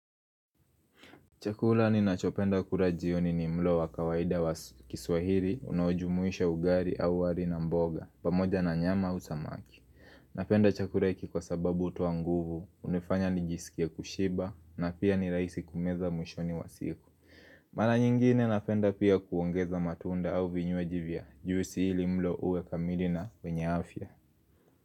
Chakula ninachopenda kula jioni ni mlo wa kawaida wa kiswahili, unaojumuisha ugali au wali na mboga, pamoja na nyama au samaki. Napenda chakula hiki kwa sababu hutoa nguvu, hunifanya nijisikie kushiba, na pia ni rahisi kumeza mwishoni wa siku. Mara nyingine napenda pia kuongeza matunda au vinywaji vya, juisi hili mlo uwe kamili na wenye afya.